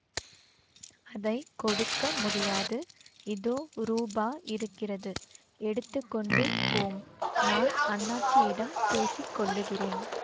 அதை கொடுக்க முடியாது இதோ ரூபா இருக்கிறது எடுத்து கொண்டு போம் நான் அண்ணாச்சியிடம் பேசிக்கொள்ளுகிறேன்